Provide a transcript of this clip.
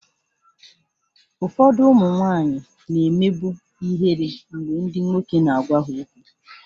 Ụfọdụ ụmụ nwanyị na-emebu ihere mgbe ndị nwoke na-agwa ha okwu